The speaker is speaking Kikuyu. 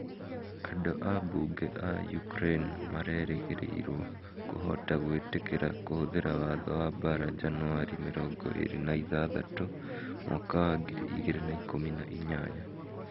Andũ a Bunge a Ukraine marerĩgĩrĩrũo kũhota gwĩtĩkĩra kũhũthĩra watho wa mbaara njanuarĩ mĩrono ĩrĩ na ithathatũ mwaka wa ngiri igĩrĩ na ikũmi na inyanya.